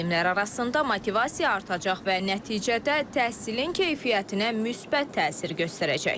Müəllimlər arasında motivasiya artacaq və nəticədə təhsilin keyfiyyətinə müsbət təsir göstərəcək.